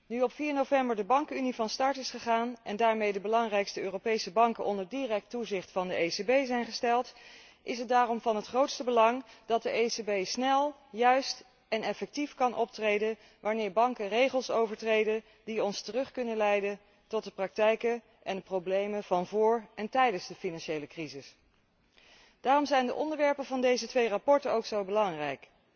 Nu op 4 november de Bankenunie van start is gegaan en daarmee de belangrijkste Europese banken onder direct toezicht van de ECB zijn gesteld, is het dan ook van het grootste belang dat de ECB snel, juist en effectief kan optreden, wanneer banken regels overtreden die ons terug kunnen leiden tot de praktijken en de problemen van vóór en tijdens de financiële crisis. Daarom zijn de onderwerpen van deze twee verslagen ook zo belangrijk.